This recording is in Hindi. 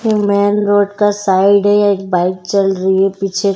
मेन रोड का साइड है एक बाइक चल रही है पीछे।